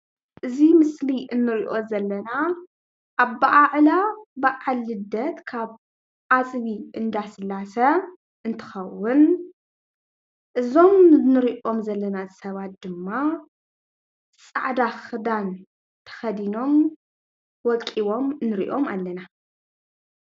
እዚ ምስሊ እንሪኦ ዘለና ኣበዓዕላ በዓል ልደት ካብ ኣፅቢ እንዳስላሴ እንትከውን እዞም እንሪኦም ዘለና ሰባት ድማ ፃዕዳ ክዳን ተከዲኖም ወቂቦም ንሪኦም ኣለና፡፡